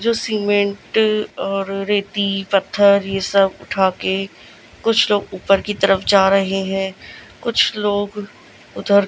जो सीमेंट और रेती पत्थर ये सब उठा के कुछ लोग ऊपर की तरफ जा रहे हैं कुछ लोग उधर--